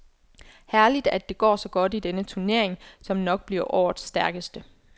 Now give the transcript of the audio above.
Herligt at det går så godt i denne turnering, som nok bliver årets stærkeste.